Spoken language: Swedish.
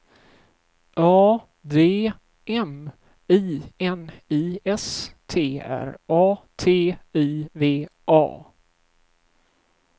A D M I N I S T R A T I V A